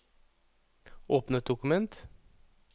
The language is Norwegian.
Åpne et dokument